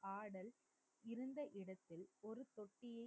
ஆடல் இருந்த இடத்தில் ஒரு போட்டியில்,